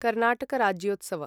Karnataka Rajyotsav